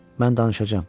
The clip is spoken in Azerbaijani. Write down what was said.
Mən danışacağam.